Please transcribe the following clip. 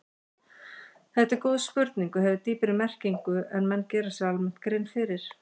Þetta er góð spurning og hefur dýpri merkingu en menn gera sér almennt grein fyrir.